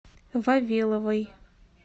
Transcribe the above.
вавиловой